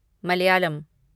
Malayalam